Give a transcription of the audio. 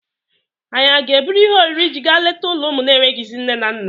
Ànyị a ga-eburu ihe oriri iji gaa leta ụlọ ụmụ na-enweghịzị nne na nna?